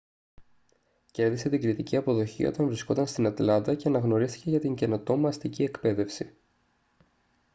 κέρδισε την κριτική αποδοχή όταν βρισκόταν στην ατλάντα και αναγνωρίστηκε για την καινοτόμα αστική εκπαίδευση